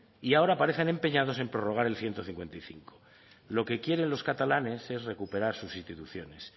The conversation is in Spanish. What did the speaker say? y ahora parecen empeñados en prorrogar el ciento cincuenta y cinco lo que quieren los catalanes es recuperar sus instituciones